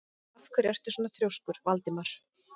Af hverju ertu svona þrjóskur, Valdimar?